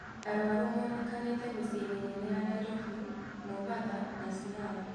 Arũaru monekanite mĩcĩĩ mĩnene ya Nairobi, Mombasa na Siaya.